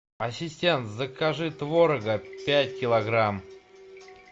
ассистент закажи творога пять килограмм